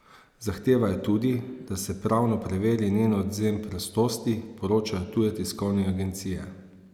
Zahtevajo tudi, da se pravno preveri njen odvzem prostosti, poročajo tuje tiskovne agencije.